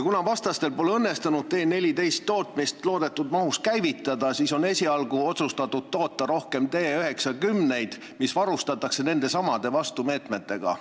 Kuna vastastel pole õnnestunud T-14 tootmist loodetud mahus käivitada, siis on esialgu otsustatud toota rohkem T-90-id, mis varustatakse nendesamade vastumeetmetega.